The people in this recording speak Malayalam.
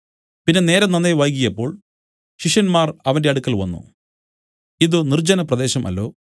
പിന്നെ നേരം നന്നേ വൈകിയപ്പോൾ ശിഷ്യന്മാർ അവന്റെ അടുക്കൽ വന്നു ഇതു നിർജ്ജനപ്രദേശം അല്ലോ